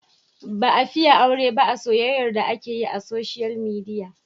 Ba a fiye aure ba a soyyayar da ake yi a soshiyal midiya.